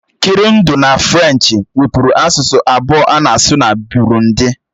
Kịrundi na Frenchi wubụru asụsụ abụọ a na-asụ na Burundi.